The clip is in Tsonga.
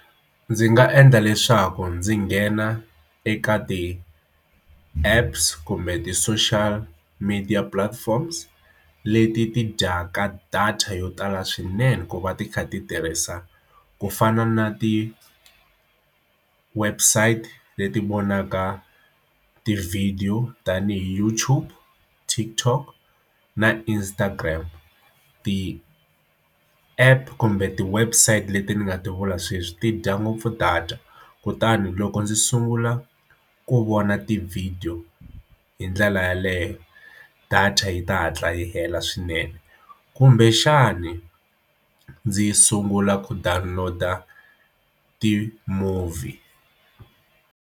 Ndzi nga endla leswaku ndzi nghena eka ti-apps kumbe ti-social media platforms leti ti dyaka data yo tala swinene ku va ti kha ti tirhisa ku fana na ti-website leti vonaka tivhidiyo tanihi YouTube, TikTok na Instagram ti-app kumbe ti website leti ni nga ti vula sweswi ti dya ngopfu data kutani loko ndzi sungula ku vona tivhidiyo hi ndlela yeleyo data yi ta hatla yi hela swinene kumbexani ndzi yi sungula ku download-a ti-movie.